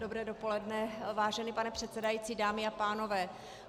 Dobré dopoledne, vážený pane předsedající, dámy a pánové.